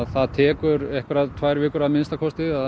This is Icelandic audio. það tekur tvær vikur að minnsta kosti að